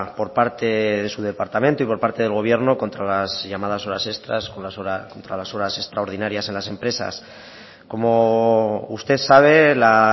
por parte de su departamento y por parte del gobierno contra las llamadas horas extras contra las horas extraordinarias en las empresas como usted sabe la